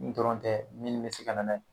N dɔrɔn tɛ minni bɛ se ka na n'a ye.